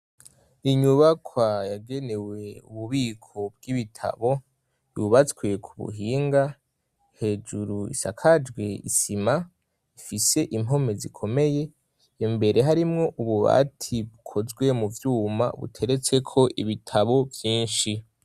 Inyubako yagenewe ububiko bw'ibitabo yubatswe ku buhinga, hejuru isakajwe isima ifise impome zikomeye, imbere harimwo ububati bukozwe mu vyuma buteretseko ibitabo vyinshi.